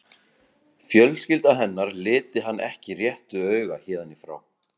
Fjölskylda hennar liti hann ekki réttu auga héðan í frá.